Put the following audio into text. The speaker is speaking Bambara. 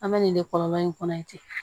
An bɛ nin de kɔlɔlɔ in kɔnɔ yan